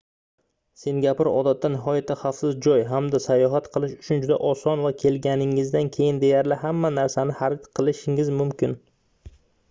singapur odatda nihoyatda xavfsiz joy hamda sayohat qilish uchun juda oson va kelganingizdan keyin deyarli hamma narsani xarid qilishingiz mumkin